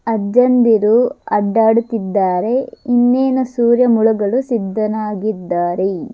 ಅಜ್ಜಂದಿರು ಅಡ್ಡಾಡುತ್ತಿದ್ದಾರೆ ಇನ್ನೇನು ಸೂರ್ಯ ಮುಳುಗಲು ಸಿದ್ದನಾಗಿದ್ದಾನೆ.